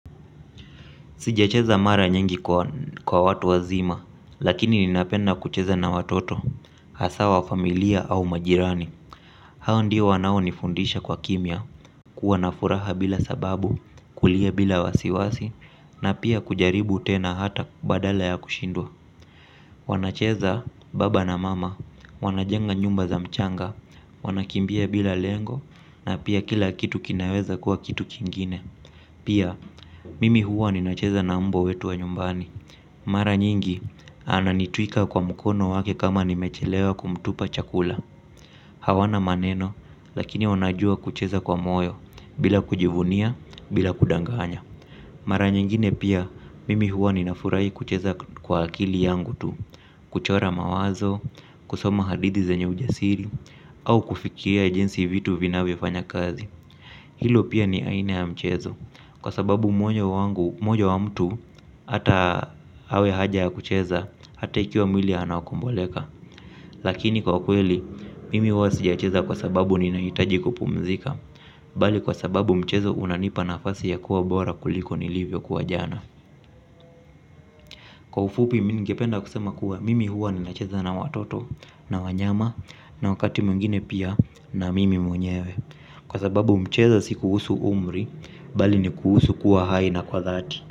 Sijacheza mara nyingi kwa watu wazima, lakini ninapenda kucheza na watoto, hasa wa familia au majirani. Hao ndio wanaonifundisha kwa kimia kuwa na furaha bila sababu kulia bila wasiwasi na pia kujaribu tena hata badala ya kushindwa. Wanacheza baba na mama, wanajenga nyumba za mchanga, wanakimbia bila lengo, na pia kila kitu kinaweza kuwa kitu kingine. Pia, mimi huwa ninacheza na umbwa wetu wa nyumbani. Mara nyingi, ananitwika kwa mkono wake kama nimechelewa kumtupa chakula. Hawana maneno, lakini wanajua kucheza kwa moyo, bila kujivunia, bila kudanganya. Mara nyingine pia mimi huwa ninafurahi kucheza kwa akili yangu tu. Kuchora mawazo, kusoma hadithi zenye ujasiri au kufikiria jinsi vitu vinavyofanya kazi. Hilo pia ni aina ya mchezo kwa sababu moyo wangu, moyo wa mtu ata awe haja ya kucheza ata ikiwa mwili anakomboleka lakini kwa kweli, mimi huwa sija cheza kwa sababu ninahitaji kupumzika. Bali kwa sababu mchezo unanipa nafasi ya kuwa bora kuliko nilivyokuwa jana. Kwa ufupi mi ningependa kusema kuwa mimi huwa ninacheza na watoto na wanyama na wakati mwingine pia na mimi mwenyewe. Kwa sababu mchezo si kuhusu umri bali ni kuhusu kuwa hai na kwa dhati.